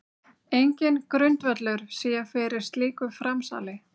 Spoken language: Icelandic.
Enginn grundvöllur sé fyrir slíku framsali